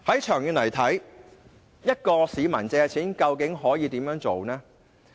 長遠而言，市民想借貸究竟可以怎樣做呢？